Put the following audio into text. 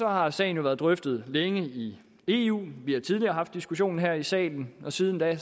har sagen jo været drøftet længe i eu vi har tidligere haft diskussionen her i salen og siden da